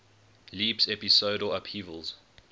leaps episodal upheavals